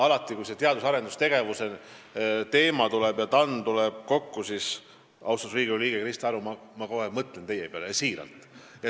Alati, kui see teadus- ja arendustegevuse teema tõstatub ja TAN tuleb kokku, siis ma mõtlen kohe, austatud Riigikogu liige Krista Aru, teie peale.